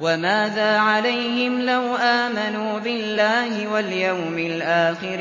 وَمَاذَا عَلَيْهِمْ لَوْ آمَنُوا بِاللَّهِ وَالْيَوْمِ الْآخِرِ